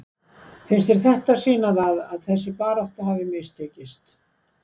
Finnst þér þetta sýna það að þessi barátta hafi mistekist?